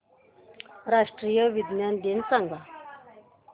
राष्ट्रीय विज्ञान दिन सांगा